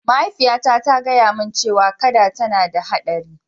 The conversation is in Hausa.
Mahaifiyata ta gaya mani cewa kada yana da haɗari.